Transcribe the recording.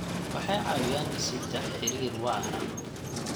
Waxay caawiyaan dhisidda xiriir waara.